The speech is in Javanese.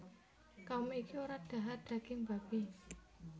Kaum iki ora dhahar daging babi